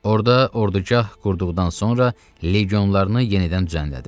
Orda ordugah qurduqdan sonra legionlarını yenidən düzənlədi.